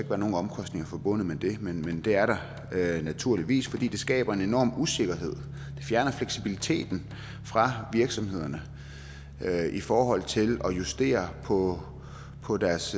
være nogen omkostninger forbundet med det men det er der naturligvis for det skaber en enorm usikkerhed og fjerner fleksibiliteten fra virksomhederne i forhold til at kunne justere på på deres